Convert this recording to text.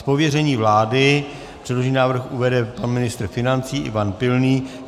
Z pověření vlády předložený návrh uvede pan ministr financí Ivan Pilný.